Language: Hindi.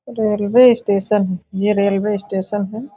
रेलवे स्टेशन यह रेलवे स्टेशन है।